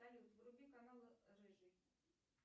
салют вруби канал рыжий